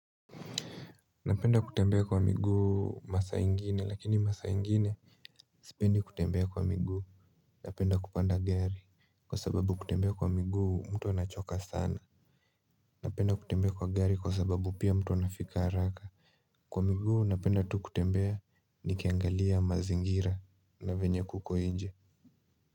Napenda kutembea kwa miguu masaa ingine lakini masaa ingine Sipendi kutembea kwa miguu Napenda kupanda gari kwa sababu kutembea kwa miguu mtu anachoka sana Napenda kutembea kwa gari kwa sababu pia mtu ana fika haraka Kwa miguu napenda tu kutembea nikiangalia mazingira na venye kuko nje.